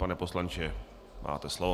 Pane poslanče, máte slovo.